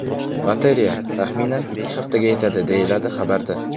Batareya, taxminan, ikki haftaga yetadi, deyiladi xabarda.